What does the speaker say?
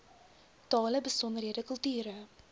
tale besondere kulture